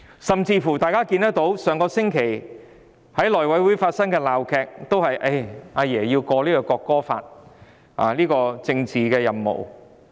上星期內務委員會發生鬧劇，亦是因為"阿爺"要求通過《國歌條例草案》的政治任務。